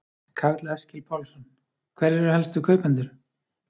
Karl Eskil Pálsson: Hverjir eru helstu kaupendur?